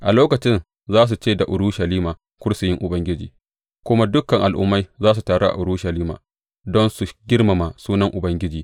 A lokacin za su ce da Urushalima Kursiyin Ubangiji, kuma dukan al’ummai za su taru a Urushalima don su girmama sunan Ubangiji.